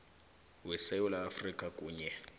wesewula afrika kunye